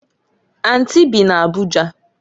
Anti bị n'Abuja.